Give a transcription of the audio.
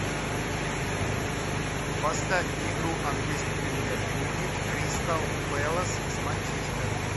поставь игру английской премьер лиги кристал пэлас с манчестером